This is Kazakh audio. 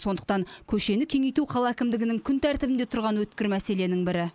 сондықтан көшені кеңейту қала әкімдігінің күн тәртібінде тұрған өткір мәселенің бірі